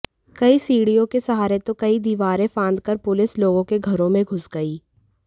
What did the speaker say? कहीं सीढ़ियों के सहारे तो कहीं दीवारें फांदकर पुलस लोगों के घरों में घुस गई